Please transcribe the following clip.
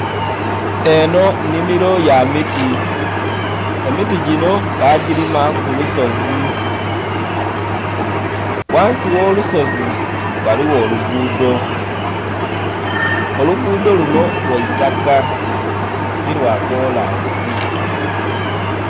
Eho nnhimilo ya miti, emiti ginho bagilima kulusozi ghansi gho lusozi ghaligho olugudho. Olugudho lunho lwaitaka tilwa kolansi.